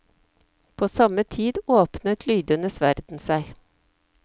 På samme tid åpnet lydenes verden seg.